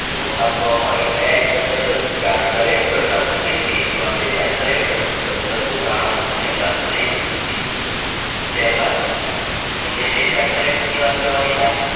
છૂટ આપવામાં આવી કયા act charter act અઢારશોને તેર ત્યાં તે charter act સતરસોને તાણું અને અઢારશોને તેર ત્યારબાદ તમને બે charter act ની વાત કરવાની થાય